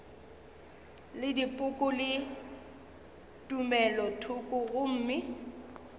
le dipoko le tumelothoko gomme